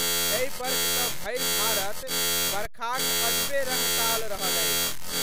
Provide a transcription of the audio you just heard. एहि वर्ख त भरि भारत वर्खाक अजबे रडताल रहल अछि।